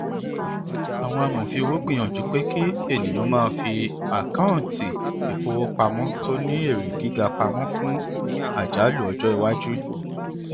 ọpọ amòfin owó gbìyànjú pé kí ènìyàn máa fi àkọọntì ìfowópamọ tó ní èrè gíga pamọ fún àjálù ọjọ iwájú